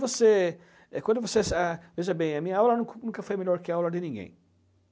você, quando você sa. Veja bem, a minha aula nunca foi melhor que a aula de ninguém.